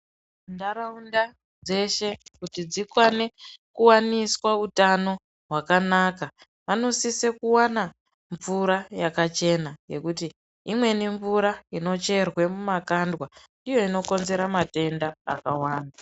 Ndarawunda dzeshe kuti dzikwane kuwaniswa hutano hwakanaka, vanosise kuwana mvura yakachena , yekuti imweni mvura inocherwe mumakandwa iyo inokonzera matenda akawanda.